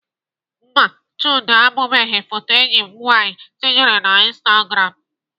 Mba, Chude ahụbeghị foto enyi m nwaanyị tinyere na instagram